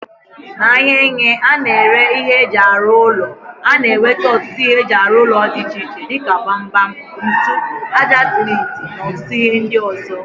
N'ahia ene a na-ere ihe eji aru ulo, a na-enwete otutu ihe eji aru ulo di iche iche dika gbam gbam, ntu, aja sementi na otutu ihe ndi ozo.